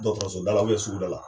Dɔkɔtɔrɔsoba la suguda la